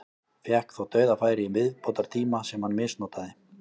Fékk þó dauðafæri í viðbótartíma sem hann misnotaði.